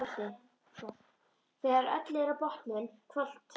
Þegar öllu er á botninn hvolft.